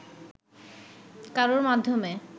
কারোর মাধ্যমে